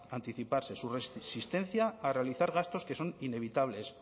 anticiparse su resistencia a realizar gastos que son inevitables